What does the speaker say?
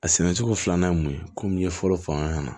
A sɛnɛcogo filanan ye mun ye komi ye fɔlɔ fanga ka na